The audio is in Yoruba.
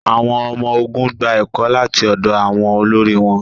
àwọn ọmọ-ogun gba ẹkọ lati ọdọ àwọn olori wọn